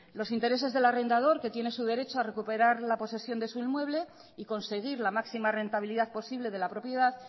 los intereses del arrendador que tiene su derecho a recuperar la posesión de su inmueble y conseguir la máxima rentabilidad posible de la propiedad